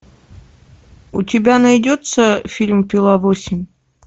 у тебя найдется фильм пила восемь